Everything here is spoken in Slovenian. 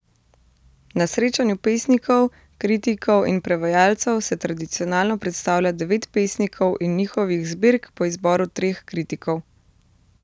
Na srečanju pesnikov, kritikov in prevajalcev se tradicionalno predstavlja devet pesnikov in njihovih zbirk po izboru treh kritikov.